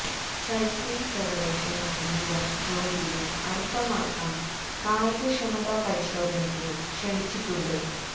cycling federation of India ജ്യോതിയെ അടുത്തമാസം കായികക്ഷമതാ പരിശോധനയ്ക്ക് ക്ഷണിച്ചിച്ചിട്ടുണ്ട്